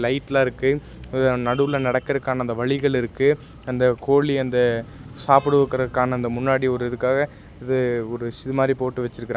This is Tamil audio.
லைட்லா இருக்கு நடுவுல நடக்கறக்கான அந்த வழிகள் இருக்கு அந்த கோழி அந்த சாப்டுவக்கறகான அந்த முன்னாடி ஒரு இதுகாக இது ஒரு இது மாரி போட்டு வெச்சிருக்கற--